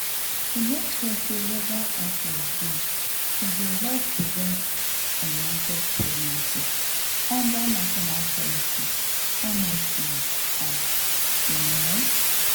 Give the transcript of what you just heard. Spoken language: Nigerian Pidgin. to make sure legal access dey e dey help prevent unwanted pregnancies under national policies honestly ah you know.